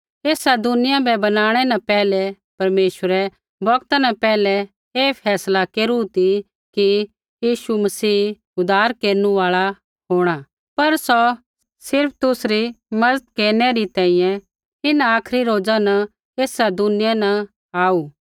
ऐसा दुनिया बै बनाणै न पैहलै परमेश्वरै बौगता न पैहलै ऐ फैसला केरू ती कि यीशु मसीह उद्धार केरनु आल़ा होंणा पर सौ सिर्फ़ तुसरी मज़त केरनै री तैंईंयैं इन्हां आखरी रोज़ न ऐसा दुनिया न आऊ